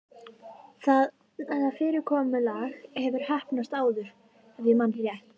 Það fyrirkomulag hefur heppnast áður- ef ég man rétt.